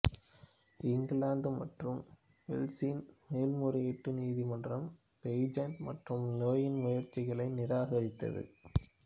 இங்கிலாந்து மற்றும் வேல்ஸின் மேல்முறையீட்டு நீதிமன்றம் பெய்ஜெண்ட் மற்றும் லேயின் முயற்சிகளை நிராகரித்தது